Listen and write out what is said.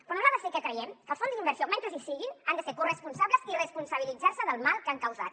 però nosaltres sí que creiem que els fons d’inversió mentre hi siguin han de ser corresponsables i responsabilitzar se del mal que han causat